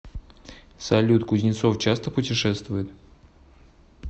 салют кузнецов часто путешествует